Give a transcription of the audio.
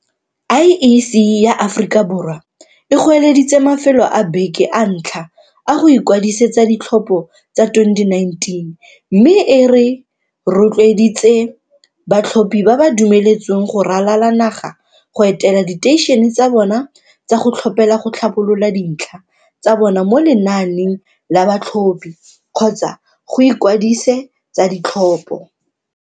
IEC ya Aforika Borwa e goeleditse mafelo a beke a ntlha a go ikwadisetsa ditlhopho tsa 2019 mme e ro tloeditse batlhophi ba ba dumeletsweng go ralala naga go etela diteišene tsa bona tsa go tlhophela go tlhabolola dintlha tsa bona mo lenaaneng la ba tlhophi kgotsa go ikwadise tsa ditlhopho.